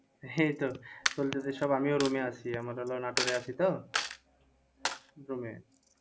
এই তো চলতেছে সব আমিও room এ আছি আমরা তো নাটোরে আছি তো? room এ